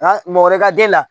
Nka mɔgɔ wɛrɛ ka den la